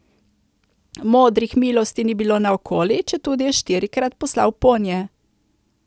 Modrih milosti ni bilo naokoli, četudi je štirikrat poslal ponje.